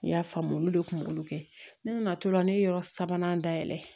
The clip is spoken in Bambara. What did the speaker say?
N y'a faamu olu de kunkolo kɛ ne nana to la ne ye yɔrɔ sabanan dayɛlɛ